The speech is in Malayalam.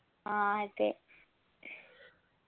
ആ അതെ